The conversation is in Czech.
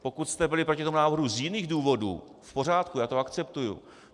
Pokud jste byli proti tomu návrhu z jiných důvodů, v pořádku, já to akceptuji.